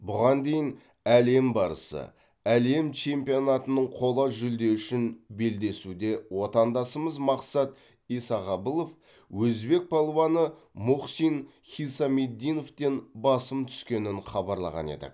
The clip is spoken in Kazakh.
бұған дейін әлем барысы әлем чемпионатының қола жүлде үшін белдесуде отандасымыз мақсат исағабылов өзбек палуаны мухсин хисамиддиновтен басым түскенін хабарлаған едік